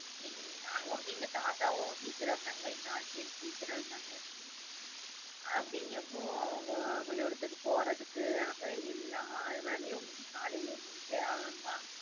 அங்க வந்து எங்க தாத்தாவும் teacher ஆ இருந்தாங்க, எங்க ஆச்சியும் teacher ஆ இருந்தாங்க. அப்படிங்கறப்போ அவங்க பள்ளிகூடத்துக்கு போறதுக்காக எல்லா வேலையும் காலைல முடிச்சே ஆகணுமா,